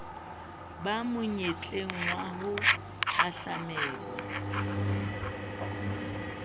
ba monyetleng wa ho hahlamelwa